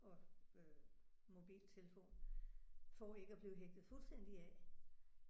Og øh mobiltelefon for ikke at blive hægtet fuldstændig af